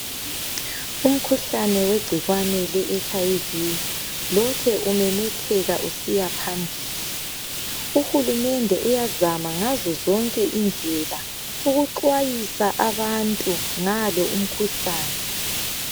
umkhuhlane wegcikwane le HIV lokhe umemetheka usiya phambili uhulumende uyazama ngazo zonke indlela ukuxwayisa abantu ngalo umkhuhlane